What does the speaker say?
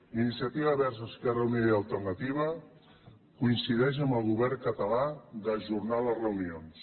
iniciativa verds esquerra unida i alternativa coincideix amb el govern català d’ajornar les reunions